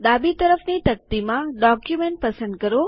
ડાબી તરફની તકતીમાં ડોક્યુમેન્ટ પસંદ કરો